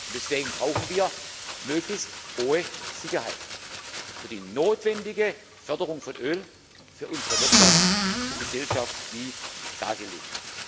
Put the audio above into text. Deswegen brauchen wir möglichst hohe Sicherheit für die notwendige Förderung von Öl, für unsere Wirtschaft und Gesellschaft, wie dargelegt.